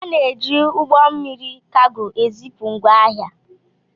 Ana-eji ụgbọ mmiri kago ezipu ngwá ahịa.